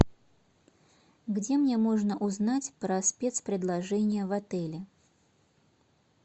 где мне можно узнать про спец предложения в отеле